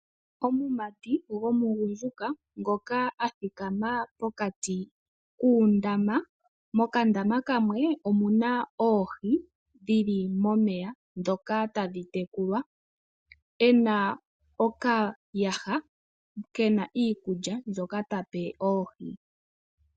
Omumati gwomugudjuka ngoka a thikama pokati koondaama , mondaama yimwe omuna oohi dhili momeya ndhoka tadhi tekulwa, ena okayaha kena iikulya mbyoka tape oohi.